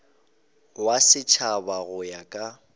wa setšhaba go ya ka